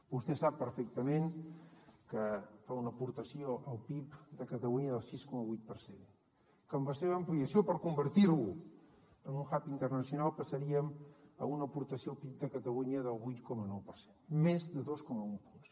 vostè sap perfectament que fa una aportació al pib de catalunya del sis coma vuit per cent que amb la seva ampliació per convertir lo en un hub internacional passaríem a una aportació al pib de catalunya del vuit coma nou per cent més de dos coma un punts